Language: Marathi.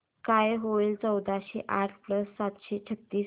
काय होईल चौदाशे आठ प्लस सातशे छ्त्तीस